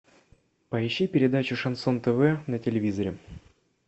поищи передачу шансон тв на телевизоре